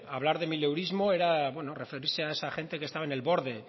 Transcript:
hablar de mileurismo era referirse a esa gente que estaba en el borde